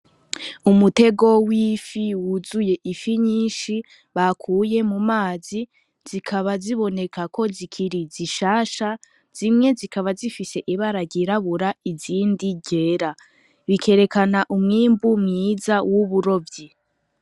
Umutego w'ifi wuzuye ifi nyinshi bakuye mu mazi zikaba ziboneka ko zikiri zishasha, zimwe zikaba zifise ibara ryirabura izindi ryera. Bikerekana umwimbu mwiza w'uburovyi.